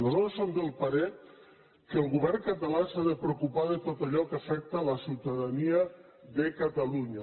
nosaltres som del parer que el govern català s’ha de preocupar de tot allò que afecta la ciutadania de catalunya